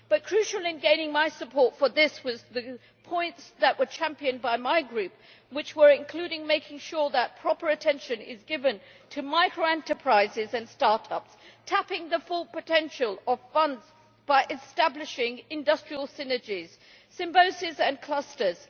Crucial in getting my support for this were the points that were championed by my Group, namely including making sure that proper attention is given to micro-enterprises and start ups, and tapping the full potential of funds by establishing industrial synergies, symbioses and clusters.